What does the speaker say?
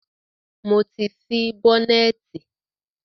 Mo ti ṣí bọ́nẹ̀tì.